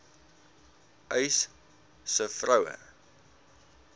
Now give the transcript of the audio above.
uys sê vroue